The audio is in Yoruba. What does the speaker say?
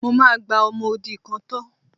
Mo máa gba ọmọ odi kan tọ́.